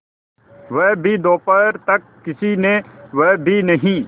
वह भी दोपहर तक किसी ने वह भी नहीं